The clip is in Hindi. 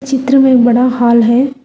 चित्र में बड़ा हाल है।